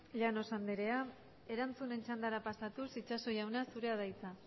llanos anderea erantzunen txandara pasatuz itxaso jauna zurea da hitza